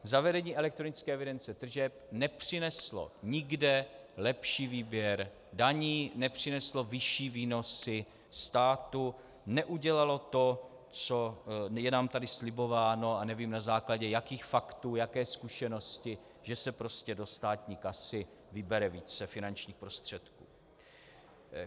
Zavedení elektronické evidence tržeb nepřineslo nikde lepší výběr daní, nepřineslo vyšší výnosy státu, neudělalo to, co je nám tady slibováno, a nevím, na základě jakých faktů, jaké zkušenosti, že se prostě do státní kasy vybere více finančních prostředků.